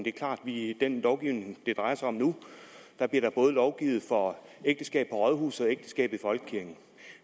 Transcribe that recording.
er klart i den lovgivning det drejer sig om nu bliver der både lovgivet for ægteskab på rådhuset og ægteskab i folkekirken